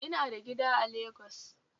Ina da gida a Lagos